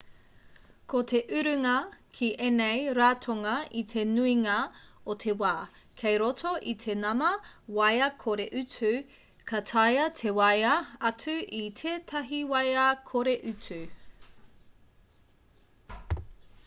ko te urunga ki ēnei ratonga i te nuinga o te wā kei roto i te nama waea kore-utu ka taea te waea atu i tētahi waea kore-utu